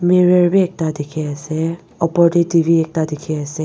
mirror bi ekta dikhi ase opor te T_V ekta dikhi ase.